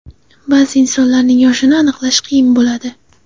Ba’zi insonlarning yoshini aniqlash qiyin bo‘ladi.